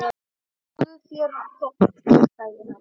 Fáðu þér popp, sagði hann.